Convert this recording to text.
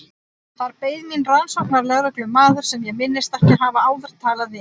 Þar beið mín rannsóknarlögreglumaður sem ég minntist ekki að hafa áður talað við.